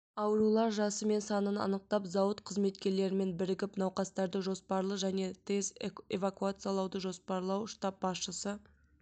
аурулар жасы мен санын анықтау зауыт қызметкерлерімен бірігіп науқастарды жоспарлы және тез эвакуациялауды жоспарлау штаб басшысы